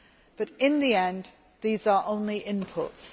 But in the end, these are only inputs.